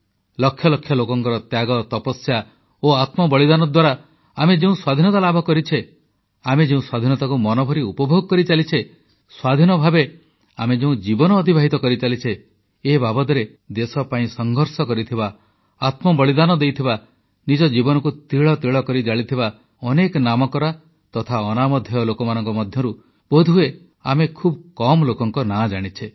ଲକ୍ଷ ଲକ୍ଷ ଲୋକଙ୍କର ତ୍ୟାଗ ତପସ୍ୟା ଓ ଆତ୍ମବଳିଦାନ ଦ୍ୱାରା ଆମେ ଯେଉଁ ସ୍ୱାଧୀନତା ଲାଭ କରିଛେ ଆମେ ଯେଉଁ ସ୍ୱାଧୀନତାକୁ ମନଭରି ଉପଭୋଗ କରିଚାଲିଛେ ସ୍ୱାଧୀନ ଭାବେ ଆମେ ଯେଉଁ ଜୀବନ ଅତିବାହିତ କରିଚାଲିଛେ ଏ ବାବଦରେ ଦେଶ ପାଇଁ ସଂଘର୍ଷ କରିଥିବା ଆତ୍ମବଳିଦାନ ଦେଇଥିବା ନିଜ ଜୀବନକୁ ତିଳତିଳ କରି ଜାଳିଥିବା ଅନେକ ନାମକରା ତଥା ଅନାମଧ୍ୟେୟ ଲୋକଙ୍କ ମଧ୍ୟରୁ ବୋଧହୁଏ ଆମେ ଖୁବ୍ କମ୍ ଲୋକଙ୍କ ନାଁ ଜାଣିଛେ